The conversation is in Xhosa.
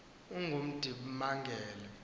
ongundimangele